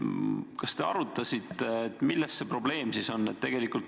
Kas te arutasite, milles see probleem siin on?